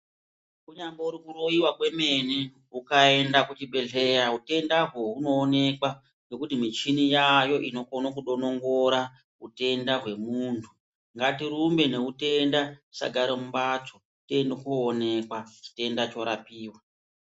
Kunyambori kuroyiwa kwemene ukaenda kuchibhedhleya uchienda koonekwa ngokuti mishini yaayo inokone kudonongora utenda womuntu, ngatirumbe noutenda tisagara mumbatso tiende koonekwa, chitenda chorapiwa.